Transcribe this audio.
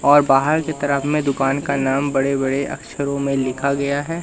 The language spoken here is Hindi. और बाहर की तरफ में दुकान का नाम बड़े बड़े अक्षरों में लिखा गया है।